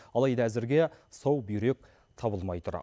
алайда әзірге сау бүйрек табылмай тұр